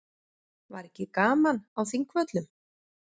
Var ekki gaman á Þingvöllum?